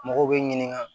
Mɔgɔw bɛ ɲininka